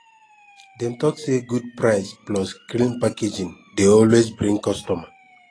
dem talk say good price plus clean packaging dey always bring customer